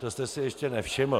To jste si ještě nevšiml?